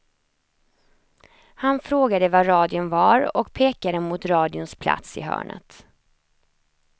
Han frågade var radion var och pekade mot radions plats i hörnet.